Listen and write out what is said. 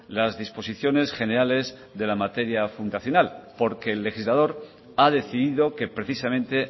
las disposiciones generales de la materia fundacional porque el legislador ha decidido que precisamente